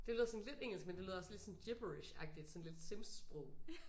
Det lyder sådan lidt engelsk men det lyder også lidt sådan gibberishagtigt sådan lidt Sims-sprog